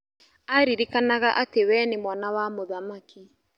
Aririkanaga atĩ we nĩ mwana wa mũthamaki.